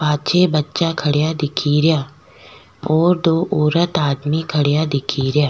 पाछे बच्चा खड़िया दिखेरा और दो औरत आदमी खड्या दिखेरा।